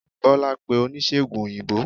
bola pe onisegùn oyinbo